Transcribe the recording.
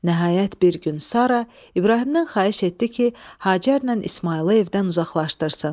Nəhayət, bir gün Sara İbrahimdən xahiş etdi ki, Hacərlə İsmayılı evdən uzaqlaşdırsın.